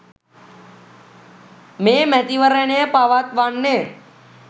මේ මැතිවරණය පවත්වන්නේ.